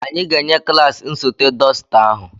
Anyị ga-enye klaasị nsote dọsita ahụ.